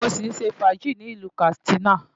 Mo sì ń ṣe fàájì ní ìlú Katsina.